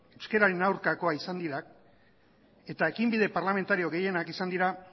euskararen aurkakoak izan dira eta ekinbide parlamentario gehienak izan dira